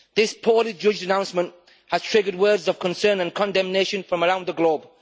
This poorly judged announcement has triggered words of concern and condemnation from around the globe.